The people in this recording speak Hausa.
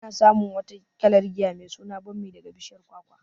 Ana samun wata kalar giya mai suna bammi daga bishiyar kwakwa.